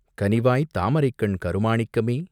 கனிவாய்த் தாமரைக்கண் கருமாணிக்கமே..